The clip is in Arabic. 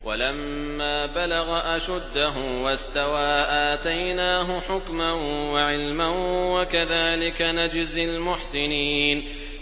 وَلَمَّا بَلَغَ أَشُدَّهُ وَاسْتَوَىٰ آتَيْنَاهُ حُكْمًا وَعِلْمًا ۚ وَكَذَٰلِكَ نَجْزِي الْمُحْسِنِينَ